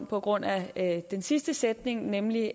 på grund af den sidste sætning nemlig